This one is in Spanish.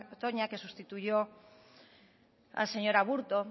toña que sustituyó al señor aburto